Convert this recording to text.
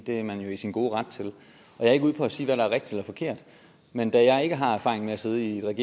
det er man jo i sin gode ret til jeg er ikke ude på at sige hvad der er rigtigt og forkert men da jeg ikke har erfaringer med at sidde i et